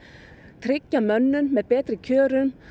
tryggja mönnun með betri kjörum